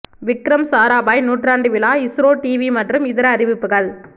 விக்ரம் சாராபாய் நூற்றாண்டு விழா இஸ்ரோ டிவி மற்றும் இதர அறிவிப்புகள்